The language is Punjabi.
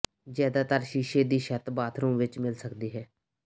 ਜ਼ਿਆਦਾਤਰ ਸ਼ੀਸ਼ੇ ਦੀ ਛੱਤ ਬਾਥਰੂਮ ਵਿੱਚ ਮਿਲ ਸਕਦੀ ਹੈ